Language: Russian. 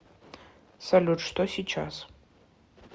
салют что сейчас